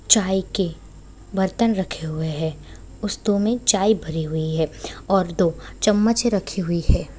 चाय के बर्तन रखे हुए है में चाय भरी हुई है और दो चम्मच रखी हुई है।